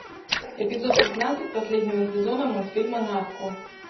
эпизод пятнадцать последнего сезона мультфильма нарко